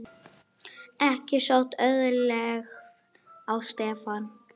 Ekki sótti auðlegð á Stefán.